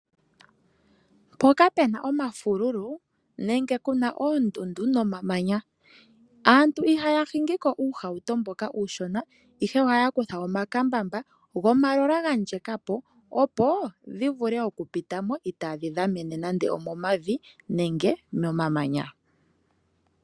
Mpoka pu na omafululu nenge pu na oondundu nomamanya, aantu ihaya hingi ko uuhauto mboka uushona, ihe ohaya kutha omakambamba gomatayiyela ga ndjeka po, opo ga vule okupita mo itaaga tyuulile nando omomavi nenge momamanya.